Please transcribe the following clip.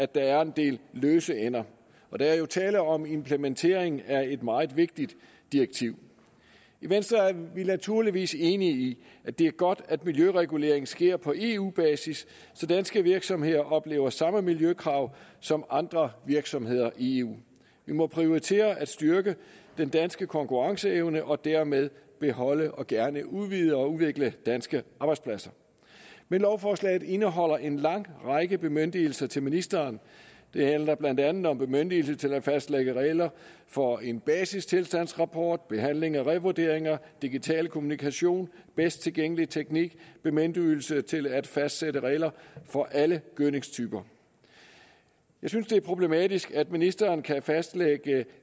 der er en del løse ender og der er jo tale om implementering af et meget vigtigt direktiv i venstre er vi naturligvis enige i at det er godt at miljøreguleringen sker på eu basis så danske virksomheder oplever samme miljøkrav som andre virksomheder i eu vi må prioritere at styrke den danske konkurrenceevne og dermed beholde og gerne udvide og udvikle danske arbejdspladser men lovforslaget indeholder en lang række bemyndigelser til ministeren det handler blandt andet om bemyndigelse til at fastlægge regler for en basistilstandsrapport behandling af revurderinger digital kommunikation bedst tilgængelig teknik bemyndigelse til at fastsætte regler for alle gødningstyper jeg synes det er problematisk at ministeren kan fastlægge